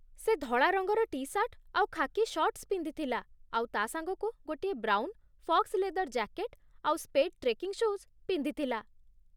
ସେ ଧଳା ରଙ୍ଗର ଟି ସାର୍ଟ୍ ଆଉ ଖାକି ସର୍ଟ୍ସ୍ ପିନ୍ଧିଥିଲା, ଆଉ ତା' ସାଙ୍ଗକୁ ଗୋଟିଏ ବ୍ରାଉନ୍, ଫକ୍ସ୍ ଲେଦର୍ ଜ୍ୟାକେଟ୍ ଆଉ ସ୍ୱେଡ୍ ଟ୍ରେକିଂ ସୁ'ଜ୍ ପିନ୍ଧିଥିଲା ।